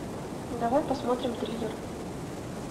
давай посмотрим триллер